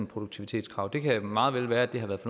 produktivitetskrav det kan meget vel være at det har været